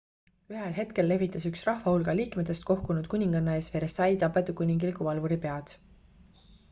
ühel hetkel lehvitas üks rahvahulga liikmetest kohkunud kuninganna ees versailles tapetud kuningliku valvuri pead